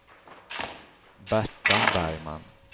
Berta Bergman